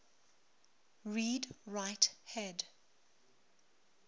read write head